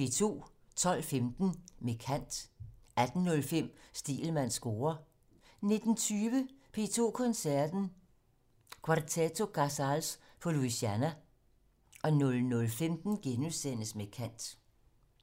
12:15: Med kant 18:05: Stegelmanns score 19:20: P2 Koncerten - Quarteto Casals på Louisiana 00:15: Med kant *